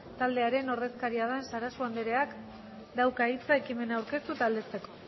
taldearen ordezkaria den sarasua andereak dauka hitza ekimena aurkeztu eta aldezteko